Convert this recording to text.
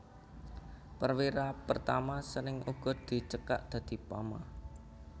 Perwira Pertama sering uga dicekak dadi Pama